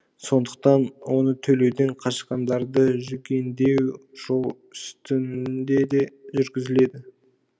сондықтан оны төлеуден қашқандарды жүгендеу жол үстінде де жүргізіледі